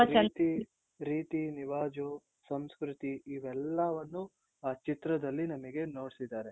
ರೀತಿ ರೀತಿ ರಿವಾಜು ಸಂಸ್ಕೃತಿ ಇವೆಲ್ಲವನ್ನೂ ಆ ಚಿತ್ರದಲ್ಲಿ ನಮ್ಗೆ ನೋಡ್ಸಿದ್ದಾರೆ .